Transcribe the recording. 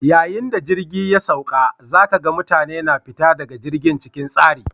Yayin da jirgi ya sauka, za ka ga mutane na fita daga jirgin cikin tsari.